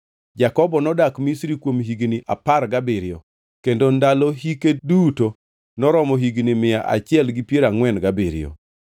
Jakobo nodak Misri kuom higni apar gabiriyo kendo ndalo hike duto noromo higni mia achiel gi piero angʼwen gabiriyo.